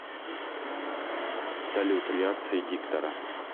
салют реакции диктора